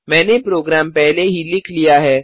मैंने प्रोग्राम पहले ही लिख लिया है